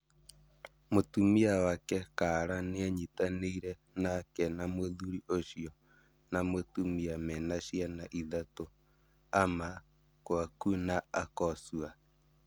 Mũtumia wake Kala nĩanyitanĩire nake na mũthuri ũcio na mũtumia mena ciana ithatũ-Ama, Kwaku na Akosua